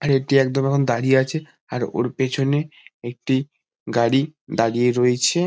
আর এটি একদম এখন দাঁড়িয়ে আছে আর ওর পেছনে একটি গাড়ি দাঁড়িয়ে রয়েছে।